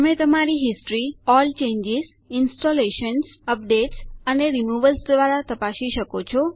તમે તમારી history all changes installations updates અને રિમૂવલ્સ દ્વારા તપાસી શકો છો